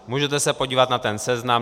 Můžete se podívat na ten seznam.